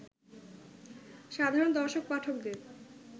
সাধারণ দর্শক-পাঠকদের